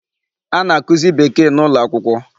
A na-akụzị Bekee n'ụlọakwụkwọ.